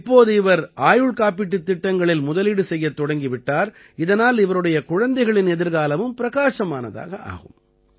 இப்போது இவர் ஆயுள் காப்பீட்டுத் திட்டங்களில் முதலீடு செய்யத் தொடங்கி விட்டார் இதனால் இவருடைய குழந்தைகளின் எதிர்காலமும் பிரகாசமானதாக ஆகும்